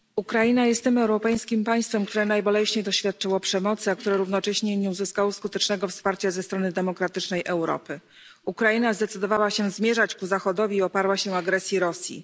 Panie Przewodniczący! Ukraina jest tym europejskim państwem, które najboleśniej doświadczyło przemocy, a które równocześnie nie uzyskało skutecznego wsparcia ze strony demokratycznej Europy. Ukraina zdecydowała się zmierzać ku Zachodowi i oparła się agresji Rosji.